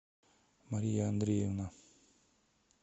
мария андреевна